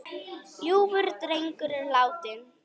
Ljúfur drengur er látinn.